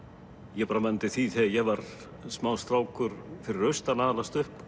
ég man eftir því þegar ég var smástrákur fyrir austan að alast upp